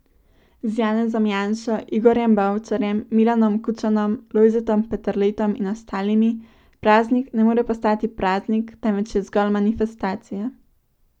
Z Janezom Janšo, Igorjem Bavčarjem, Milanom Kučanom, Lojzetom Peterletom in ostalimi, praznik ne more postati praznik, temveč je zgolj manifestacija.